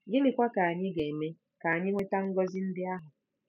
Gịnịkwa ka anyị ga-eme ka anyị nweta ngọzi ndị ahụ?